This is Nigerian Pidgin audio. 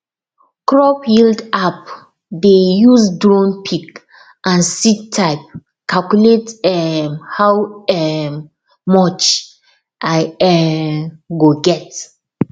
crop yield app dey use drone pic and seed type calculate um how um much i um go get